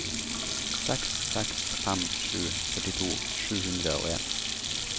seks seks fem sju førtito sju hundre og en